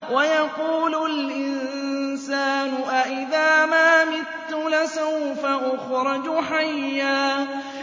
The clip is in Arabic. وَيَقُولُ الْإِنسَانُ أَإِذَا مَا مِتُّ لَسَوْفَ أُخْرَجُ حَيًّا